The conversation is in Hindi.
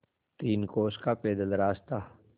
तीन कोस का पैदल रास्ता